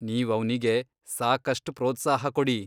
ನೀವ್ ಅವ್ನಿಗೆ ಸಾಕಷ್ಟ್ ಪ್ರೋತ್ಸಾಹ ಕೊಡಿ.